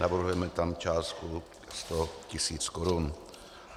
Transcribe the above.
Navrhujeme tam částku sto tisíc korun.